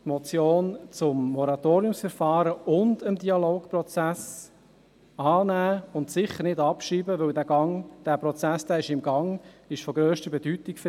Die Motion zum Moratoriumsverfahren und den Dialogprozess annehmen und sicher nicht abschreiben, weil der Prozess im Gang und für die Region von grösster Bedeutung ist.